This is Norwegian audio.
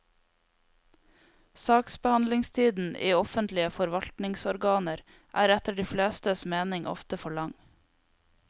Saksbehandlingstiden i offentlige forvaltningsorganer er etter de flestes mening ofte for lang.